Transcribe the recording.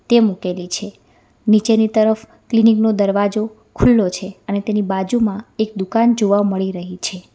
તે મુકેલી છે નીચેની તરફ ક્લિનિક નો દરવાજો ખુલ્લો છે અને તેની બાજુમાં એક દુકાન જોવા મળી રહી છે.